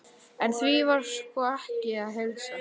En því var sko ekki að heilsa.